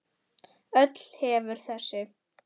Öll hefur þessi